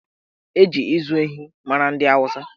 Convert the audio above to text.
Eji ịzụ ehi mara ndị Awụsa